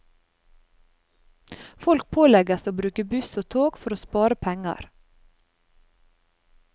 Folk pålegges å bruke buss og tog for å spare penger.